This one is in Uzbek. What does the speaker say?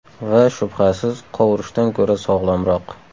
Va, shubhasiz, qovurishdan ko‘ra sog‘lomroq.